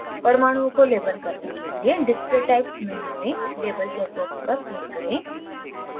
परमाणुओं को label करने के लिए display types menu में label check box पर click करें